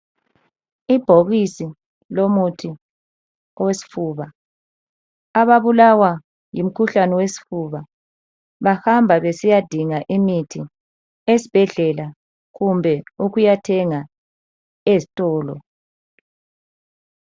Ibhokisi lomuthi owesifuba .Ababulawa ngumkhuhlane wesfuba bahamba besiyadinga imithi esbhedlela kumbe ukuyathenga ezitolo. .